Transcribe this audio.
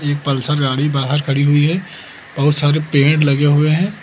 Pulsar गाड़ी बाहर खड़ी हुई है बहुत सारे पेड़ लगे हुए है।